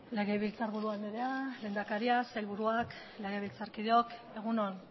legebiltzarburu andrea lehendakaria sailburuak legebiltzarkideok egun on